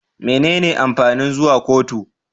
Menene amfanin zuwa kotu?